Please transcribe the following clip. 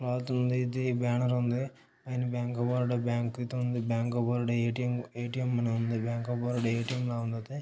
ఉంది బేనరుంది ఉంది పైన బ్యాంకబరోడా బ్యాంక్ అయితే ఉంది బ్యాంక్ అఫ్ బరోడా ఎటిఎం అని ఉంది బ్యాంక్ అఫ్ బరోడా ఎటిఎం లా ఉంది --